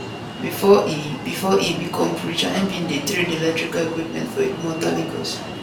bifor e bifor e become preacher im bin dey trade electrical equipment for idumota lagos